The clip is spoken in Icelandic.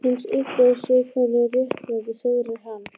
Hins Illa og séð hvernig réttlætið sigrar hann.